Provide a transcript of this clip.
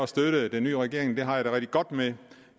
støtte den nye regering det har jeg det rigtig godt med